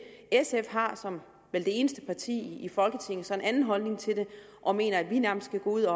sf har som vel det eneste parti i folketinget så en anden holdning til det og mener at vi nærmest skal gå ud